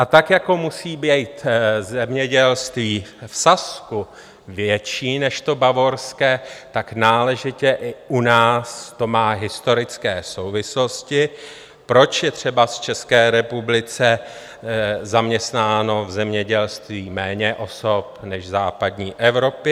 A tak jako musí být zemědělství v Sasku větší než to bavorské, tak náležitě i u nás to má historické souvislosti, proč je třeba v České republice zaměstnáno v zemědělství méně osob než v západní Evropě.